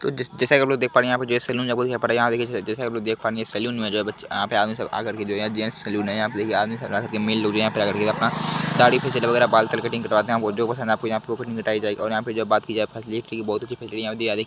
ज जैसे कि आप लोग देख पा रहे हैं यहाँ पे जैंट्स सैलून आपको दिखाई पड़ रहा है| जैसा की आप लोग देख पा रहे हैं ये सैलून है यहाँ पर आदमी सब आकर के जैंट्स सैलून है| यहाँ पर आदमी सब आकर के मेल लोग आकर के अपना दाढ़ी फेशियल और बाल वगैरह कटिंग कटवाते हैं और यहाँ पे जो बात की जाए फेसिलिटी की बहुत अच्छी फेसिलिटी यहाँ पे दी जा रही--